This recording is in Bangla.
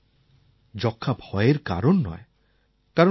কিন্তু এখন যক্ষ্মা ভয়ের কারণ নয়